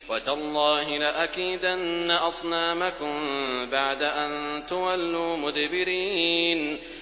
وَتَاللَّهِ لَأَكِيدَنَّ أَصْنَامَكُم بَعْدَ أَن تُوَلُّوا مُدْبِرِينَ